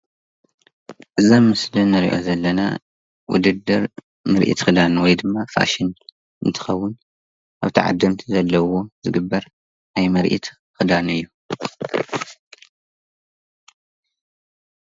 እዚ ኣብ ስእሊ ንሪኦ ዘለና ዉድድር ምርኢት ክዳን ወይ ድማ ፋሽን እንትከዉን ኣብ ተዓደምቲ ዘለዉዎ ዝግበር ናይ ምርኢት ክዳን እዩ ።